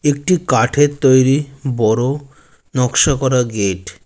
একটি কাঠের তৈরি বড়ো নকশা করা গেট।